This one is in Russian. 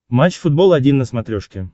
матч футбол один на смотрешке